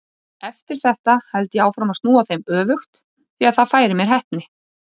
Eftir þetta held ég áfram að snúa þeim öfugt því það færir mér heppni.